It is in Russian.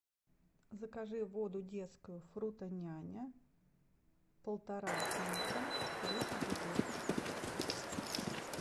закажи воду детскую фруто няня полтора литра десять бутылок